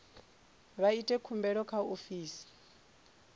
vha ite khumbelo kha ofisi